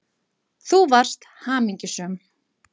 Þú varst hamingjusöm.